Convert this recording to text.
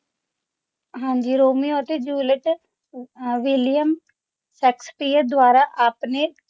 ਹਾਂਜੀ ਰੋਮੀਓ ਅਤੇ ਜੂਲੀਅਟ ਅਹ ਵਿਲੀਅਮ ਸ਼ੇਕਸਪੀਅਰ ਦੁਆਰਾ ਆਪਣੇ